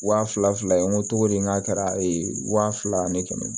Wa fila fila ye n ko togodi n k'a kɛra ee wa fila ni kɛmɛ ye